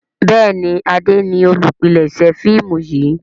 Béèni Ade ní olùpilèsè fíìmù yí.